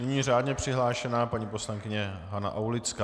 Nyní řádně přihlášená paní poslankyně Hana Aulická.